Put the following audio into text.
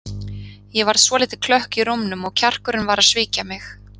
Ég varð svolítið klökk í rómnum og kjarkurinn var að svíkja mig.